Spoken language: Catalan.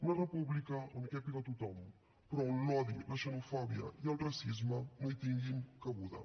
una república on càpiga tothom però on l’odi la xenofòbia i el racisme no hi tinguin cabuda